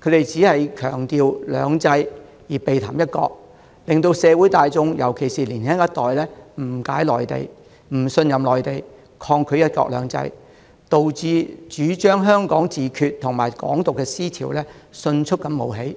他們只強調"兩制"，而避談"一國"，令社會大眾——尤其是年輕一代——誤解、不信任內地，抗拒"一國兩制"，導致主張"香港自決"和"港獨"的思潮迅速冒起，